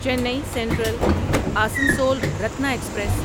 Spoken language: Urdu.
چینی سینٹرل اسنسول رتنا ایکسپریس